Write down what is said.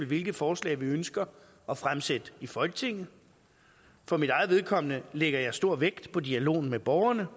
hvilke forslag vi ønsker at fremsætte i folketinget for mit eget vedkommende lægger jeg stor vægt på dialogen med borgerne